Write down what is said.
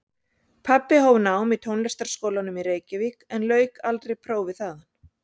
Pabbi hóf nám í Tónlistarskólanum í Reykjavík en lauk aldrei prófi þaðan.